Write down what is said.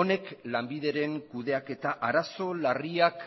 honek lanbideren kudeaketa arazo larriak